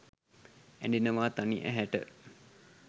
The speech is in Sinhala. ඇඬෙනවා තනි ඇහැට